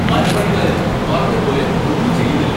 മരപ്പണിക്കാര് പറഞ്ഞപോലെ ഒന്നും ചെയ്യുന്നില്ല.